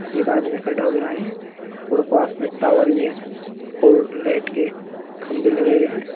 एक आदमी खड़ा हो गया है और पास में टावर भी है लाइट के खंबे लगे हुए हैं।